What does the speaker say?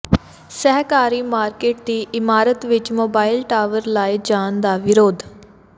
ਸਹਿਕਾਰੀ ਮਾਰਕੀਟ ਦੀ ਇਮਾਰਤ ਵਿਚ ਮੋਬਾਈਲ ਟਾਵਰ ਲਾਏ ਜਾਣ ਦਾ ਵਿਰੋਧ